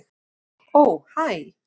Ó hæ.